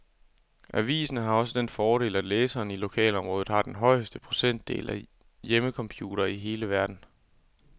Avisen har også den fordel, at læserne i lokalområdet har den højeste procentdel af hjemmecomputere i hele verden.